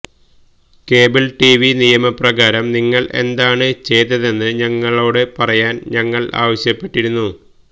cable TV നിയമപ്രകാരം നിങ്ങൾ എന്താണ് ചെയ്തതെന്ന് ഞങ്ങളോട് പറയാൻ ഞങ്ങൾ ആവശ്യപ്പെട്ടിരുന്നു